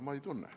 Ma ei tunne.